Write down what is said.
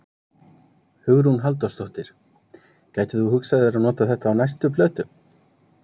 Hugrún Halldórsdóttir: Gætir þú hugsað þér að nota þetta á næstu plötu?